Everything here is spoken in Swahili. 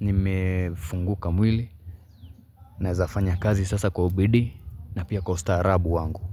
nimefunguka mwili Naeza fanya kazi sasa kwa ubidii na pia kwa ustaarabu wangu.